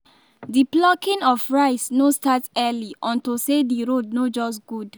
the plucking of rice no start early unto say the road no just good